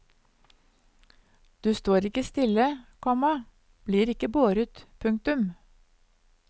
Du står ikke stille, komma blir ikke båret. punktum